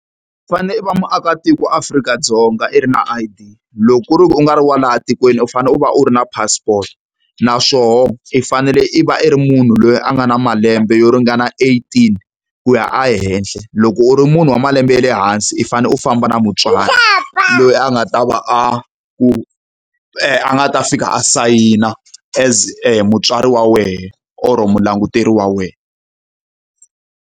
U fanele u va muakatiko wa Afrika-Dzonga i ri na I_D, loko ku ri ku u nga ri wa laha tikweni u fanele u va u ri na passport. Naswona i fanele i va i ri munhu loyi a nga na malembe yo ringana eighteen ku ya ehenhla. Loko u ri munhu wa malembe ya le hansi u fanele u famba na mutswari, loyi a nga ta va a ku nga ta fika a sayina as mutswari wa wena or mulanguteri wa wena.